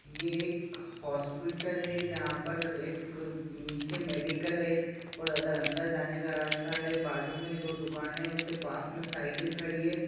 ये एक हॉस्पिटल है जहां पर एक नीचे मेडिकल है और अदर अंदर जाने का रास्ता है बाजु में दो दुकान है उसके पास में साईकिल खड़ी है।